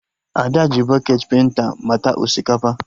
Ada ji bọketị penta mata osikapa